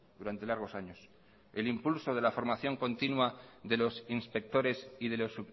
durante largos años el impulso de la formación continua de los inspectores y de los